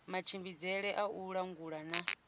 matshimbidzele a u langula na